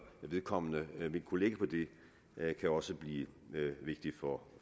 vedkommende vil kunne lægge på det kan også blive vigtige